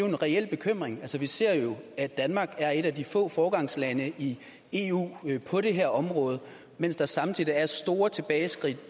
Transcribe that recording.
en reel bekymring vi ser jo at danmark er et af de få foregangslande i eu på det her område mens der samtidig er store tilbageskridt